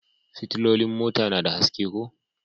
Fitilolin mota na da haske ko?